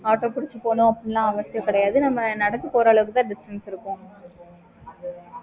okay